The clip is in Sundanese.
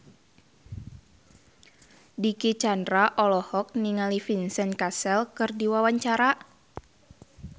Dicky Chandra olohok ningali Vincent Cassel keur diwawancara